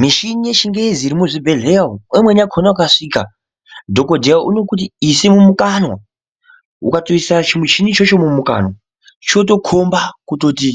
Mishini yechingezi iri muchibhedhleya umu pamweni pacho ukasvika dhokoteya uno Kuti ise mumukanwa ukatoisa chimuchini ichocho mukabwa chinotokomba kuti